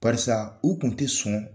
Parisa u kun tɛ sɔn.